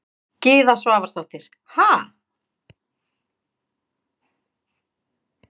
Gyða Svavarsdóttir: Ha?